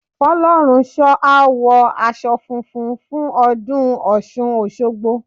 Fọlọ́runṣọ́ á wọ aṣọ funfun fún ọdún Ọ̀ṣun Òṣogbo.